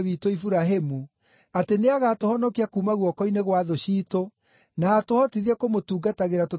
atĩ nĩagatũhonokia kuuma guoko-inĩ gwa thũ ciitũ, na atũhotithie kũmũtungatagĩra tũtarĩ na guoya,